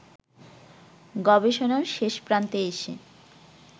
গবেষণার শেষপ্রান্তে এসে